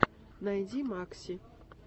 найди макси